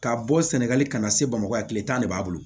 Ka bɔ sɛnɛgali ka na se bamakɔ yan kile tan de b'a bolo